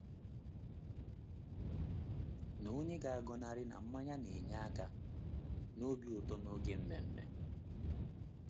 Na onye ga-agọnarị na mmanya na-enye aka n’obi ụtọ n’oge ememme?